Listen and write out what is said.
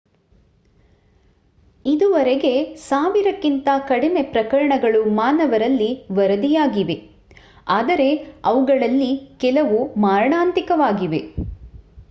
ಇದುವರೆಗೆ ಸಾವಿರಕ್ಕಿಂತ ಕಡಿಮೆ ಪ್ರಕರಣಗಳು ಮಾನವರಲ್ಲಿ ವರದಿಯಾಗಿವೆ ಆದರೆ ಅವುಗಳಲ್ಲಿ ಕೆಲವು ಮಾರಣಾಂತಿಕವಾಗಿವೆ